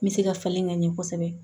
N bɛ se ka falen ka ɲɛ kosɛbɛ